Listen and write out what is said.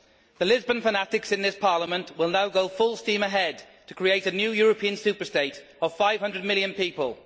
The Lisbon fanatics in this Parliament will now go full steam ahead to create a new European superstate of 500 million people.